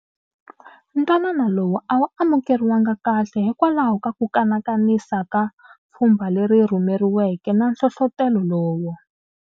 Ntwanano lowu a wu amukeriwanga kahle hikwalaho ka ku kanakanisa ka pfhumba leri rhumeriweke na nhlohlotelo lowu.